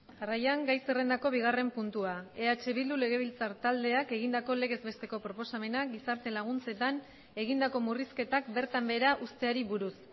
jarraian gai zerrendako bigarren puntua eh bildu legebiltzar taldeak egindako legez besteko proposamena gizarte laguntzetan egindako murrizketak bertan behera uzteari buruz